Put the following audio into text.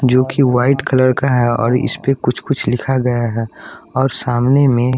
जो कि white colour का है और इस पे कुछ-कुछ लिखा गया है और सामने में --